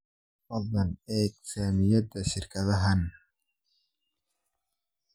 Fadlan eeg saamiyada shirkadahan